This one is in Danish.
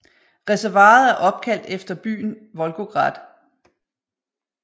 Reservoiret er opkaldt efter byen Volgograd